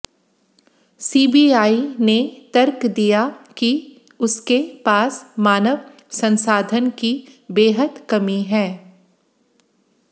CBI ने तर्क दिया कि उसके पास मानव संसाधन की बेहद कमी है